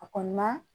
A kɔni ma